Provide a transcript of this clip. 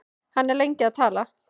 Hann er lengi að tala.